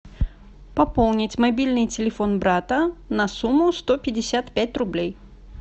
пополнить мобильный телефон брата на сумму сто пятьдесят пять рублей